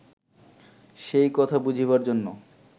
সেই কথা বুঝিবার জন্য